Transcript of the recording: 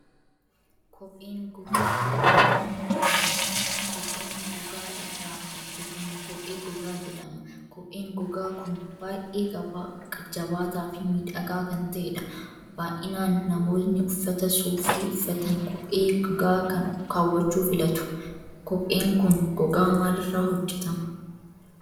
Kopheen gogaa irraa kan hojjetamudha. Kopheen gogaa irraa hojjetamu kophee gogaa jedhama. kopheen gogaa kun baay'ee jabaataa fi miidhagaa kan ta'edha. Baay'inaan namoonni uffata suufii uffatan kophee gogaa kan kaawwachuu filatu? Kopheen kun gogaa maaliirraa hojjetama.